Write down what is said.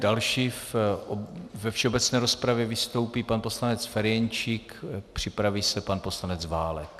Další ve všeobecné rozpravě vystoupí pan poslanec Ferjenčík, připraví se pan poslanec Válek.